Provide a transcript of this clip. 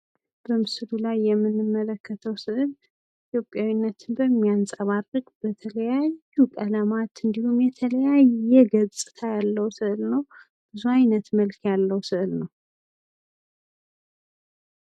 በምስል የምንመለከተው ስዕል ኢትዮጵያዊነትን በሚያንፀባርቅ በተለያዩ ቀለማት እንዲሁም የተለያየ ገጽታ ያለው ስዕል ነው። ብዙ አይነት መልክ ያለው ሰእል ነው።